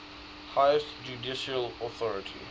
highest judicial authority